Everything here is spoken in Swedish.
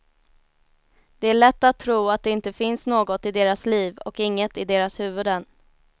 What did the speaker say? Det är lätt att tro att det inte finns något i deras liv och inget i deras huvuden.